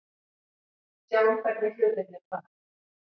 Sjáum hvernig hlutirnir fara.